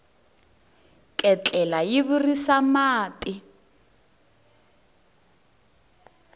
ketlela yi virisa mati